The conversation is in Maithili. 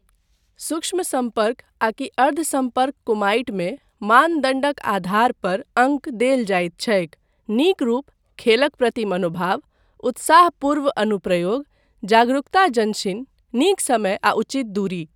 सूक्ष्म सम्पर्क आकि अर्ध सम्पर्क कुमाइटमे, मानदण्डक आधार पर अङ्क देल जायत छैक, नीक रूप, खेलक प्रति मनोभाव, उत्साहपूर्व अनुप्रयोग, जागरूकताजंशिन, नीक समय आ उचित दूरी।